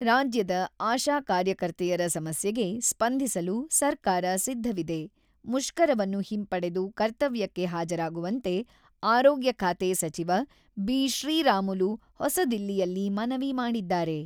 ರಾಜ್ಯದ ಆಶಾ ಕಾರ್ಯಕರ್ತೆಯರ ಸಮಸ್ಯೆಗೆ ಸ್ಪಂದಿಸಲು ಸರ್ಕಾರ ಸಿದ್ಧವಿದೆ: ಮುಷ್ಕರವನ್ನು ಹಿಂಪಡೆದು ಕರ್ತವ್ಯಕ್ಕೆ ಹಾಜರಾಗುವಂತೆ ಆರೋಗ್ಯ ಖಾತೆ ಸಚಿವ ಬಿ.ಶ್ರೀರಾಮುಲು ಹೊಸದಿಲ್ಲಿಯಲ್ಲಿ ಮನವಿ ಮಾಡಿದ್ದಾರೆ.